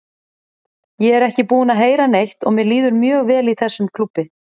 Ég er ekki búinn að heyra neitt og mér líður mjög vel í þessum klúbbi.